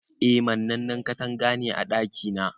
Eh mannani katanga ne a ɗaki na.